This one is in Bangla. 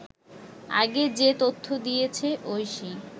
আগে যে তথ্য দিয়েছে ঐশী